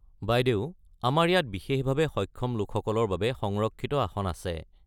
বাইদেউ আমাৰ ইয়াত বিশেষভাৱে সক্ষম লোকসকলৰ বাবে সংৰক্ষিত আসন আছে।